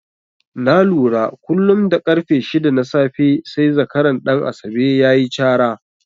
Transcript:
Na lura kullum da ƙarfe shida na safe sai zakaran Ɗan Asabe ya yi cara.